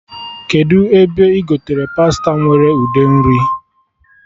Kedụ ebe ị gotere pasta nwere ude nri?